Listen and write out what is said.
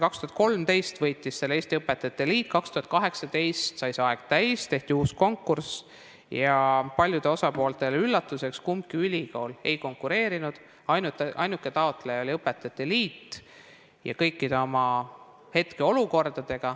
2013 võitis selle Eesti Õpetajate Liit, 2018 sai see aeg täis, tehti uus konkurss ja paljudele osapooltele üllatuseks kumbki ülikool ei konkureerinud, ainuke taotleja oli õpetajate liit.